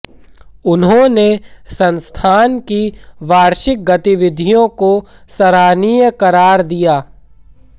उन्होंने संस्थान की वार्षिक गतिविधियों को सराहनीय करार दिया